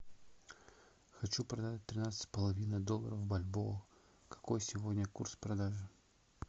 хочу продать тринадцать с половиной долларов бальбоа какой сегодня курс продажи